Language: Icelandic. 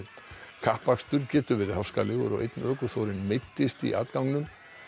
kappakstur getur verið háskalegur og einn ökuþórinn meiddist í atganginum